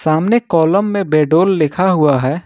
सामने कॉलम में विडोल लिखा हुआ है।